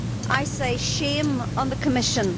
I say shame on the Commission.